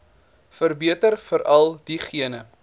verbeter veral diegene